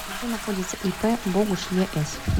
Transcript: где находится ип богуш ес